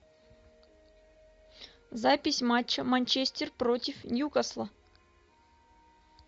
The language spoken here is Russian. запись матча манчестер против ньюкасла